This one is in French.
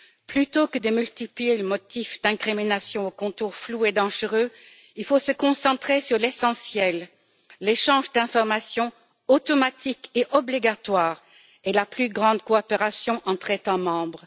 Plutôt que de multiplier les motifs d'incriminations aux contours flous et dangereux, il faut se concentrer sur l'essentiel l'échange d'informations automatique et obligatoire et une plus grande coopération entre États membres.